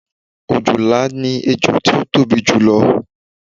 òjòlá ni ẹjọ tí ó tóbi jù lọ